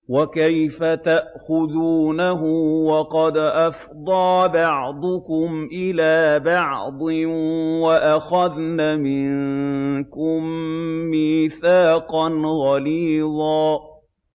وَكَيْفَ تَأْخُذُونَهُ وَقَدْ أَفْضَىٰ بَعْضُكُمْ إِلَىٰ بَعْضٍ وَأَخَذْنَ مِنكُم مِّيثَاقًا غَلِيظًا